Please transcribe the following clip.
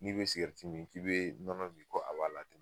N'i bɛ sigɛrɛti min k'i bɛ nɔnɔ min ko a b'a latɛmɛ